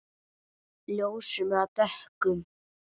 Ljósum eða dökkum?